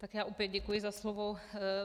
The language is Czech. Tak já opět děkuji za slovo.